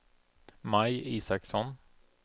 Maj Isaksson